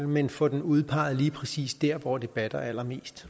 men får den udpeget lige præcis dér hvor det batter allermest